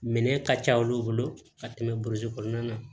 Minɛn ka ca olu bolo ka tɛmɛ burusi kɔnɔna kan